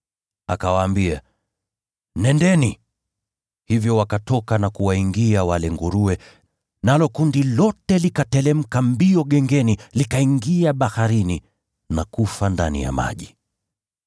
Akawaambia, “Nendeni!” Hivyo wakatoka na kuwaingia wale nguruwe, nalo kundi lote likateremka gengeni kwa kasi, likaingia katika ziwa na kufa ndani ya maji.